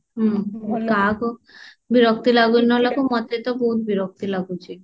ହୁଁ କାହାକୁ ବିରକ୍ତି ଲାଗୁ ନ ଲାଗୁ ମତେ ତ ବହୁତ ବିରକ୍ତି ଲାଗୁଛି